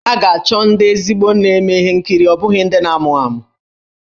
Ha ga-achọ ezigbo ndị na-eme ihe nkiri ọ bụghị ndị na-amụ amụ.